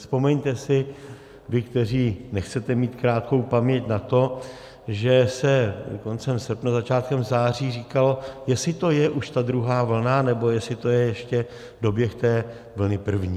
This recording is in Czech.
Vzpomeňte si vy, kteří nechcete mít krátkou paměť, na to, že se koncem srpna, začátkem září říkalo, jestli to je už ta druhá vlna, nebo jestli to je ještě doběh té vlny první.